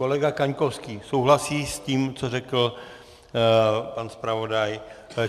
Kolega Kaňkovský souhlasí s tím, co řekl pan zpravodaj.